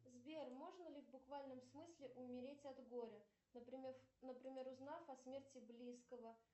сбер можно ли в буквальном смысле умереть от горя например узнав о смерти близкого